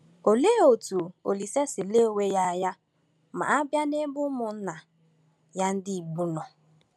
Olee otú Olise si lee onwe ya anya ma a bịa n’ebe ụmụnna ya ndị Igbo nọ?